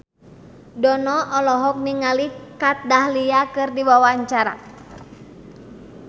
Dono olohok ningali Kat Dahlia keur diwawancara